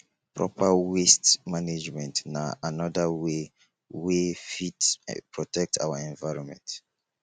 proper waste management na anoda wey wey fit protect our environment